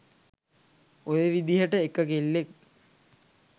ඔය විදිහට එක කෙල්ලෙක්